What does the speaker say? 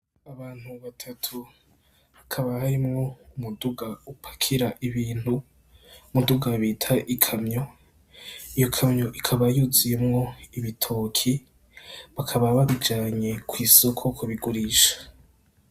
Abantu batatu hakaba harimwo umuduga upakira ibintu , umuduga bita ikamyo iyo kamyo ikaba yuzuyemwo ibitoki bakaba babijanye ku isoko kubigurisha.